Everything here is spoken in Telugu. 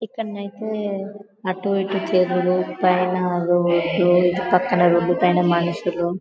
ఇక్కడనైతే ఆటు ఇటు పైన రోడ్డు పక్కన రోడ్డు పైన మనుషులు--